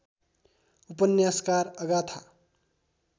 उपन्यासकार अगाथा